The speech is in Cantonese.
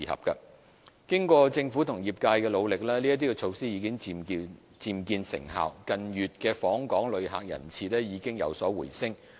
經過政府和業界的努力，這些措施已漸見成效，近月訪港旅客人次已有所回升。